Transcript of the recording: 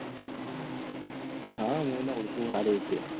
હા મુ ઓઢું એને સારી રીતે.